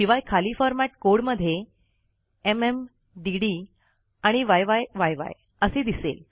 शिवाय खाली फॉरमॅट कोडमध्ये एमएम डीडी य्य्य असे दिसेल